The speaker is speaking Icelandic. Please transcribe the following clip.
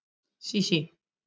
Sísí